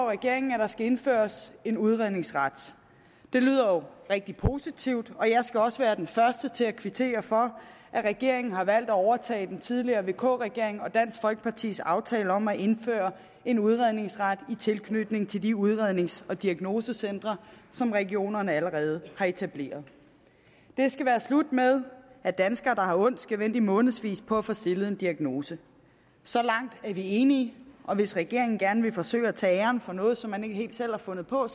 regeringen at der skal indføres en udredningsret det lyder jo rigtig positivt og jeg skal også være den første til at kvittere for at regeringen har valgt at overtage den tidligere vk regering og dansk folkepartis aftale om at indføre en udredningsret i tilknytning til de udrednings og diagnosecentre som regionerne allerede har etableret det skal være slut med at danskere der har ondt skal vente i månedsvis på at få stillet en diagnose så langt er vi enige og hvis regeringen gerne vil forsøge at tage æren for noget som man ikke helt selv har fundet på